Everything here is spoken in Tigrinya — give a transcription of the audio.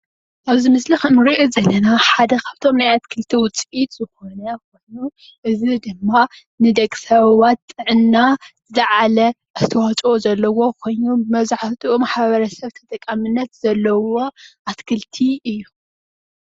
ኣብዚ ምስሊ እንሪኦ ዘለና ሓደ ኻብቶም ናይ ኣትክልቲ ውፂኢት ዝኾነ እዩ። እዚ ድማ ንደቂ ሰባት ጥዕና ዝለዓለ ኣስተዋፅኦ ዘለዎ ኾይኑ መብዛሕትኡ ማሕበረሰብ ተጠቃሞነት ዘለዎ ኣትክልቲ እዩ።